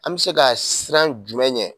An bɛ se ka siran jumɛn ɲɛ